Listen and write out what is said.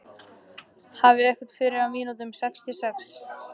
Hefnd fyrir einhvern af mínum sextíu og sex.